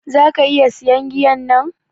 Zaka iƴa siyan giyan nan?